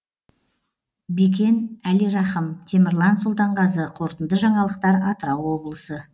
бекен әлирахым темірлан сұлтанғазы қорытынды жаңалықтар атырау облысы